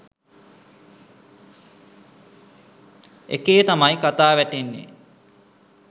එකේ තමයි කතා වැටෙන්නේ